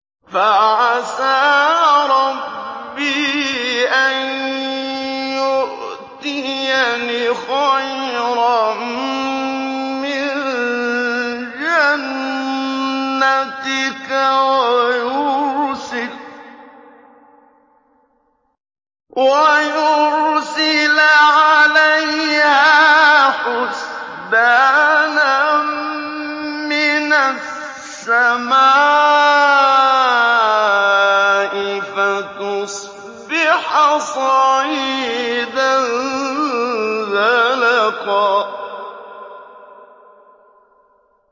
فَعَسَىٰ رَبِّي أَن يُؤْتِيَنِ خَيْرًا مِّن جَنَّتِكَ وَيُرْسِلَ عَلَيْهَا حُسْبَانًا مِّنَ السَّمَاءِ فَتُصْبِحَ صَعِيدًا زَلَقًا